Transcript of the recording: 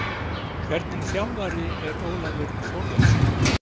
Hvernig þjálfari er Ólafur Þórðarson?